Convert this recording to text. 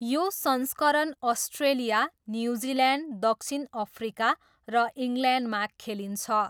यो संस्करण Australia, New Zealand, दक्षिण अफ्रिका र इङ्ल्यान्डमा खेलिन्छ।